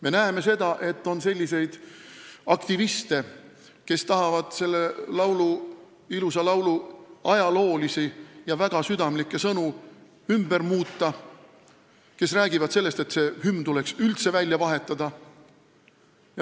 Me näeme, et on selliseid aktiviste, kes tahavad selle ilusa laulu ajaloolisi ja väga südamlikke sõnu ümber muuta, ning kes räägivad sellest, et hümn tuleks üldse välja vahetada.